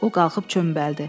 O qalxıb çömbəldi.